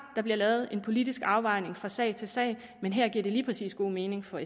der bliver lavet en politisk afvejning fra sag til sag men her giver det lige præcis god mening for